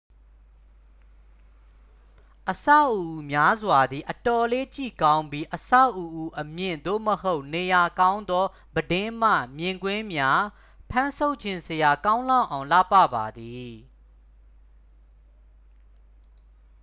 အဆောက်အဦများစွာသည် အတော်လေး ကြည့်ကောင်းပြီး အဆောက်အဦအမြင့် သို့မဟုတ် နေရာကောင်းသော ပြတင်းမှ မြင်ကွင်းမှာ ဖမ်းဆုပ်ချင်စရာကောင်းလောက်အောင် လှပ ပါသည်